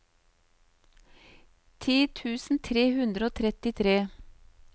ti tusen tre hundre og trettitre